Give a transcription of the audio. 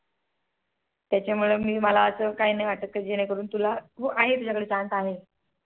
त्याच्या मुळे मला असं काहींनाहीं वाटत कि जेणे करून तुला तुझ्या कडे Chance आहे. .